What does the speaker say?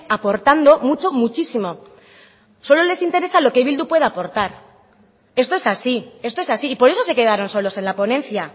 aportando mucho muchísimo solo les interesa lo que bildu pueda aportar esto es así esto es así y por eso se quedaron solos en la ponencia